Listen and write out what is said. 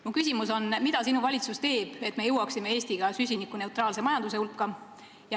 Mu küsimus on: mida sinu valitsus teeb, et Eesti jõuaks süsinikuneutraalse majanduseni?